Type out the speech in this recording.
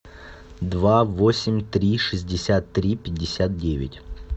два восемь три шестьдесят три пятьдесят девять